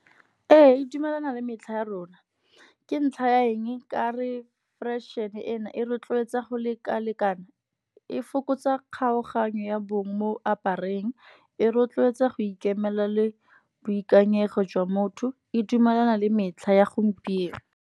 Ee e dumelana le metlha ya rona, ke ntlha ya eng ka re fashion-e e e rotloetsa go lekalekana. E fokotsa kgaoganyo ya bong mo apareng. E rotloetsa go ikemela le boikanyego jwa motho, e dumelana le metlha ya gompieno.